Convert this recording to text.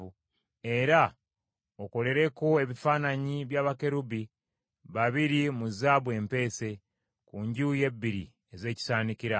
Era okolereko ebifaananyi bya bakerubi babiri mu zaabu empeese, ku njuyi ebbiri ez’ekisaanikira.